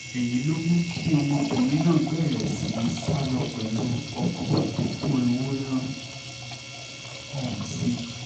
èyí ló mú kí ọmọkùnrin náà bẹ̀rẹ̀ sí í sá lọ pẹ̀lú ọkọ tó kó ewúrẹ́ ọ̀hún sí